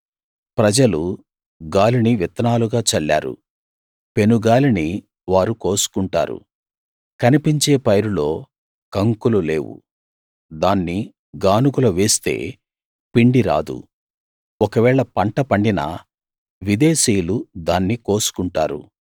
ప్రజలు గాలిని విత్తనాలుగా చల్లారు పెనుగాలిని వారు కోసుకుంటారు కనిపించే పైరులో కంకులు లేవు దాన్ని గానుగలో వేస్తే పిండి రాదు ఒకవేళ పంట పండినా విదేశీయులు దాన్ని కోసుకుంటారు